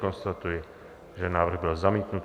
Konstatuji, že návrh byl zamítnut.